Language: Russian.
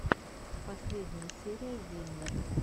последняя серия виннер